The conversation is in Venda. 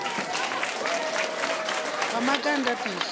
wa maga a ndaṱiso o